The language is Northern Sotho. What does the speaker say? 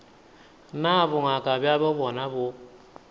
na bongaka bjabo bjona bo